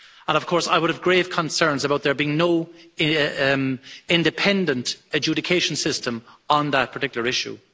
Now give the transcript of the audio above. Of course, I would have grave concerns about there being no independent adjudication system on that particular issue.